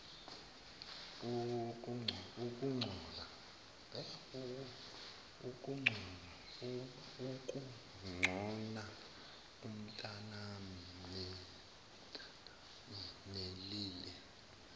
ukugcona umntanami nelile